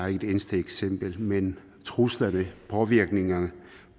er et eneste eksempel men truslerne påvirkningerne